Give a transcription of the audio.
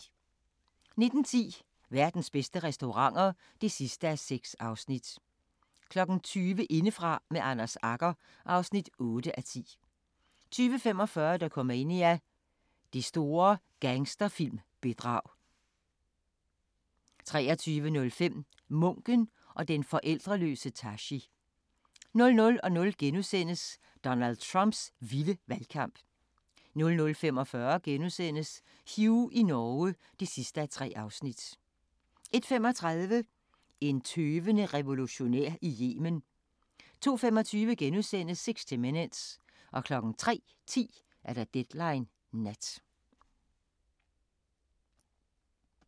19:10: Verdens bedste restauranter (6:6) 20:00: Indefra med Anders Agger (8:10) 20:45: Dokumania: Det store gangsterfilm-bedrag 23:05: Munken og den forældreløse Tashi 00:00: Donald Trumps vilde valgkamp * 00:45: Hugh i Norge (3:3)* 01:35: En tøvende revolutionær i Yemen 02:25: 60 Minutes * 03:10: Deadline Nat